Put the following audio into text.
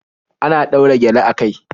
Ana ɗaura gyale a kai